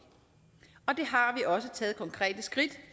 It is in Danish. også taget konkrete skridt